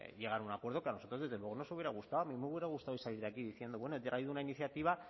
llegar a un acuerdo que a nosotros desde luego nos hubiera gustado a mí me hubiera gustado salir hoy de aquí diciendo bueno he traído una iniciativa